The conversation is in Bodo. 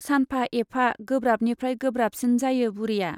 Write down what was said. सानफा एफा गोब्राबनिफ्राइ गोब्राबसिन जायो बुरिया।